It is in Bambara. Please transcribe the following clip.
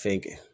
Fɛn kɛ